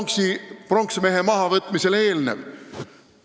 Võtame pronksmehe mahavõtmisele eelnenu.